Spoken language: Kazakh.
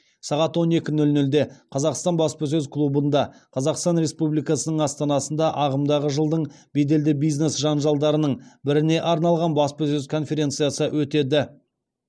сағат он екі нөл нөлде қазақстан баспасөз клубында қазақстан республикасының астанасында ағымдағы жылдың беделді бизнес жанжалдарының біріне арналған баспасөз конференциясы өтеді